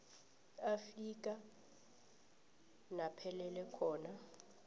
afika naphelela khona